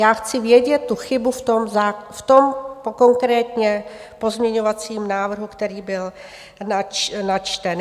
Já chci vědět tu chybu v tom konkrétním pozměňovacím návrhu, který byl načten.